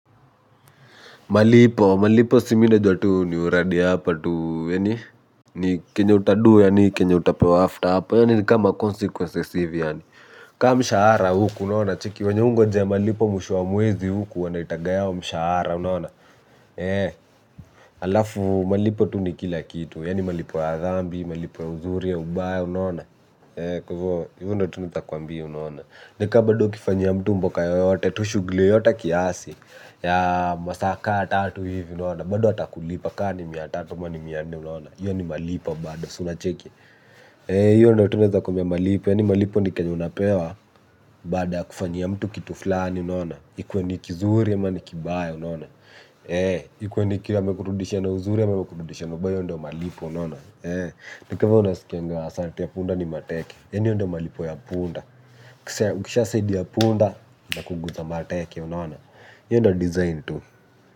Malipo, malipo si mi najua tu ni uradi hapa tu, yaani ni kenye utado yaani kenye utapewa after, yaani ni kama consequence hivi yaani ka mshahara hukua unacheki venye we hungojea malipo mwisho wa mwezi huku wanaitaga yao mshahara unaona alafu tu malipo ni kila kitu yaani malipo ya dhambi malipo ya uzuri ya ubaya unaona. He, kwaivo hivo ndo tu nitakwambi unaona. Nika bado ukifanyia mtu mboka yoyote, tu shugli yoyote kiasi ya masaa ka tatu hivi unaona. Bado atakulipa ka ni mia tatu ama ni mia nne unaona hiyo ni malipo bado si unacheki hiyo ndo tu naeza kuambia malipo, yaani malipo ni kenye unapewa. Baada ya kufanyia mtu kitu flani unaona. Ikuwe ni kizuri ama ni kibaya unaona. Ikuwe ni kizuri ama ni kibaya unona. Ikuwe ni ki amekurudishia na uzuri ama amekurudishia na ubaya hiyo ndo malipo unaona. Ni ka venye unasikianga asante ya punda ni mateke. Yaani hiyo ndo malipo ya punda ukishasaidia punda inakuguza mateke unaona hiyo ndio design tu.